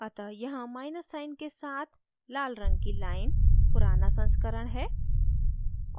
अतः यहाँ minus sign के साथ लाल रंग की line पुराना संस्करण है